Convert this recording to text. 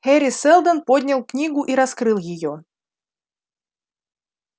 хари сэлдон поднял книгу и раскрыл её